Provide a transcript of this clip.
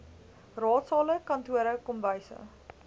raadsale kantore kombuise